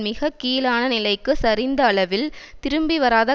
மிக கீழான நிலைக்கு சரிந்த அளவில் திரும்பிவராத